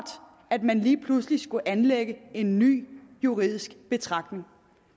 at man lige pludselig skulle anlægge en ny juridisk betragtning